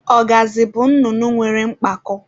Ọgazị bụ nnụnụ nwere mpako.